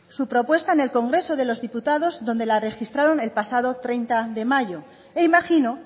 su propuesta en el congreso de los diputados donde la registraron el pasado treinta de mayo e imagino